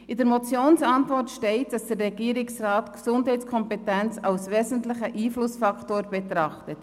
In der Motionsantwort steht, dass der Regierungsrat die Gesundheitskompetenz als wesentlichen Einflussfaktor betrachtet.